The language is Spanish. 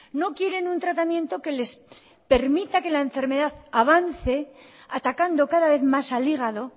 no quieren un tratamiento que les permita que la enfermedad avance atacando cada vez más al hígado